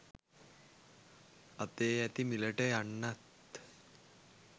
අතේ ඇති මිලට යන්නත්